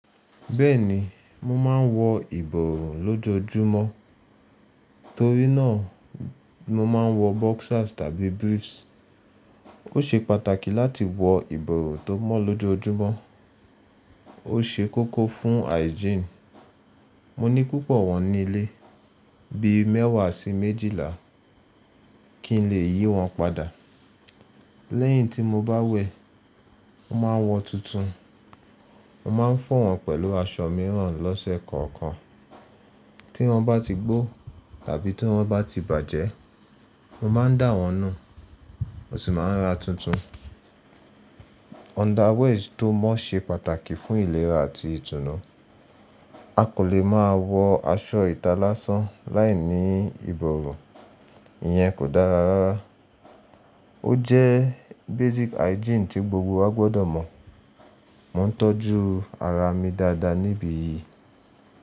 Bẹ́ẹ̀ni, mo máa ń wọ ìbòrun lójojúmọ́ torí náà mo máa ń wọ boxers tàbí briefs. Ó ṣe pàtàkì láti wọ ìbòrun tó mọ́ lójojúmọ́. Ó ṣe kókó fún hygiene. Mo ní púpọ̀ wọ́n nílé bíi mẹ́wàá sí méjìlá kí n lè yí wọn padà. Lẹ́yìn tí mo bá wẹ, mo máa ń wọ tuntun. Mo máa ń fọ wọn pẹ̀lú aṣọ mìíràn lọ́sẹ̀ kọ̀ọ̀kan. Tí wọ́n bá ti gbó tàbí tí wọ́n bá ti bàjẹ́, mo máa ń dà wọ́n nù mo sì máa ń ra tuntun. Underwears tó mọ́ ṣe pàtàkì fún ìlera àti ìtùnú. A kò lè máa wọ aṣọ ìta lá san láìní ìbòrun, ìyẹn kò dára rárá. Ó jẹ́ basic hygiene tí gbogbo wa gbọ́dọ̀ mọ̀. Mo ń tọ́jú ara mi dáadáa níbi yìí.